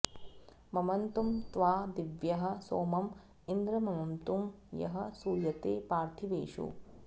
म॒मत्तु॑ त्वा दि॒व्यः सोम॑ इन्द्र म॒मत्तु॒ यः सू॒यते॒ पार्थि॑वेषु